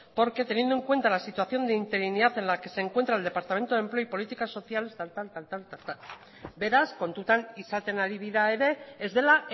porque teniendo en cuenta la situación de interinidad en la que se encuentra el departamento de empleo y políticas sociales tal y tal beraz kontutan izaten ari dira ere ez dela